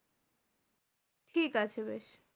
ঠিকাছে বেশ।